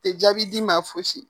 Tɛ jaabi d'i ma fosi